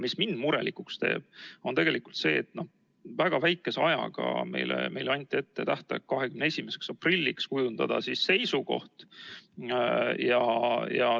Mis mind murelikuks teeb, on tegelikult see, et väga lühikese ajaga – meile anti ette tähtaeg 21. aprill – tuli komisjonil kujundada seisukoht.